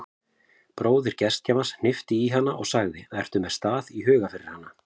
Bróðir gestgjafans hnippti í hana og sagði: ertu með stað í huga fyrir hana?